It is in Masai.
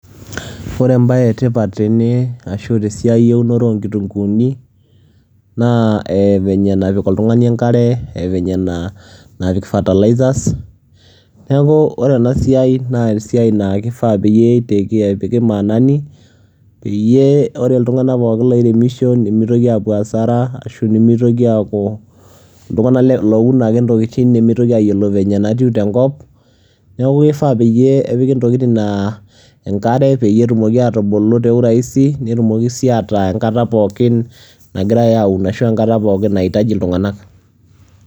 ore ebae etipat tene ashu tesiai eunoto, oonkitunkuuni naa venye napik oltungani enkare venye napik fertilzers neku ore ena siai naa, esiai naa kifaa pee epiki maanani peyie, ore iltunganak pookin loiremisho nemietoki aapuo asara, ashu nemeitoki aaku iltungank looun ake intokitin, nemeitoki aayiolo venye natiu tenkop, neeku kifaa peyie epiki ntokitin naa enare peyie etumoki atubulu te u rahisi netumoki sii ataa enkata nagirae aun ashu enkata pookin naitaji iltunganak.